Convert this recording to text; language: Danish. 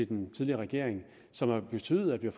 den tidligere regering som har betydet at vi